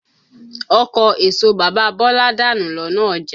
Ọkọ̀ èso bàbá Bọ́lá danù lọ́nà ọjà.